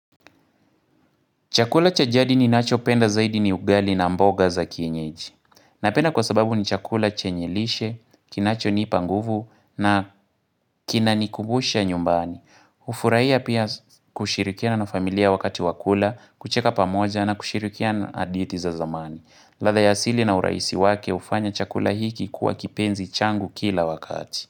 Chakula chajadi ni nacho penda zaidi ni ugali na mboga za kienyeji. Napenda kwa sababu ni chakula chenye lishe, kinacho ni ipanguvu na kinani kubusha nyumbani. Ufuraiya pia kushirikia na familia wakati wakula, kucheka pamoja na kushirikia na haditi za zamani. Ladha yasili na uraisi wake ufanya chakula hiki kuwa kipenzi changu kila wakati.